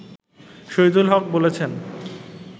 শহিদুল হক বলেছেন